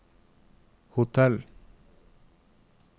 hotell